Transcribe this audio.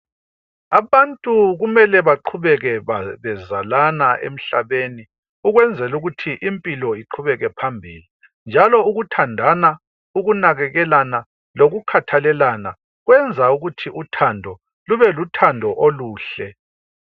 Abantu kumele baqhubeke bezalana emhlabeni ukwenzela ukuthi impilo iqhubekele phambili. Njalo ukuthandana, ukukhathalelana lokunakalelana kwenza impilo iqhubele phambili njalo kubelothando